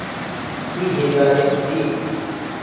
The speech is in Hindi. की हिदायत दी